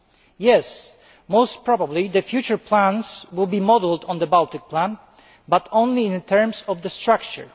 It is probable that future plans will be modelled on the Baltic Plan, but only in terms of structure.